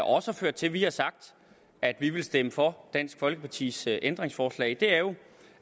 også har ført til at vi har sagt at vi vil stemme for dansk folkepartis ændringsforslag er jo